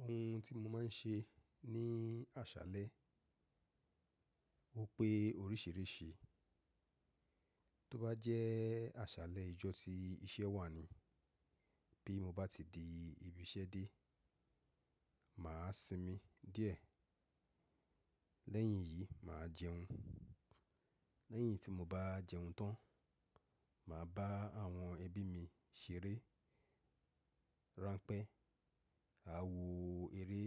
Ohun tí mo máa ń ṣe ní àṣálẹ́, o pé oríṣìíríṣìí. Tó bá jẹ́ àṣálẹ́ ìjọ tí iṣẹ́ wà ni, bí mo bá ti di ibi iṣẹ́ dé, mà á sinmi díẹ̀. Lẹ́yìn yìí, mà á jẹun. Lẹ́yìn tí mo bá jẹun tán, mà á bá àwọn ẹbí mi ṣeré, ránpẹ́, a wò eré